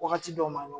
Wagati dɔ ma nɔgɔn